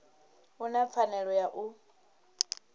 u na pfanelo ya u